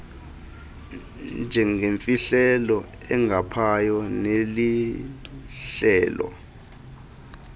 njengeyimfihlelo engaphaya nelihlelo